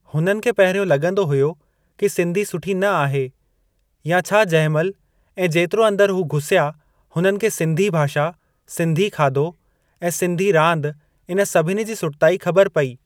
हुननि खे पहिरियों लॻंदो हुयो कि सिंधी सुठी न आहे या छा जंहिं महिल ऐं जेतिरो अंदर हू घुसिया हुननि खे सिंधी भाषा, सिंधी खाधो ऐं सिंधी रांदि इन सभिनी जी सुठताई ख़बर पेई।